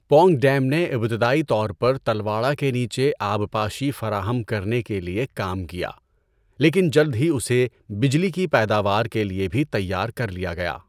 Pong dam نے ابتدائی طور پر تلواڑہ کے نیچے آبپاشی فراہم کرنے کے لیے کام کیا لیکن جلد ہی اسے بجلی کی پیداوار کے لیے بھی تیار کر لیا گیا۔